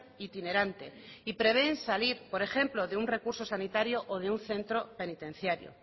itinerante y prevén salir por ejemplo de un recurso sanitario o de un centro penitenciario